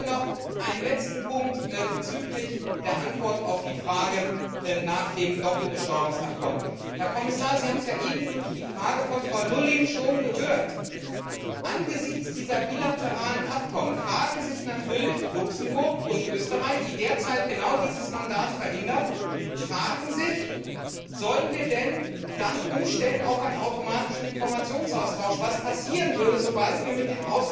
gut. Noch ein letzter Punkt bezüglich der Antwort auf die Frage nach dem Doppelbesteuerungsabkommen. Herr Kommissar, Sie haben es ja eben durch die Frage von Frau Lulling schon gehört Angesichts dieser bilateralen Abkommen fragen sich natürlich Luxemburg und Österreich, die derzeit genau dieses Mandat verhindern Sollen wir denn dann umstellen auf einen automatischen Informationsaustausch, was passieren würde, sobald